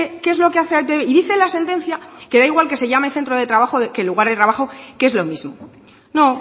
qué es lo que hace y dice la sentencia que da igual que se llame centro de trabajo que lugar de trabajo que es lo mismo no